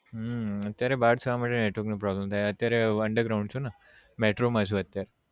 હમ અત્યારે બાર છું એ માટે network નો problem થાય છે અત્યાર હું underground છું ને metro માં છું અત્યારે